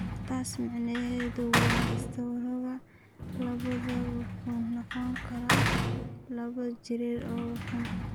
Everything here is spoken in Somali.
Taas macnaheedu waa istaroogga labaad wuxuu noqon karaa laba jeer oo xun.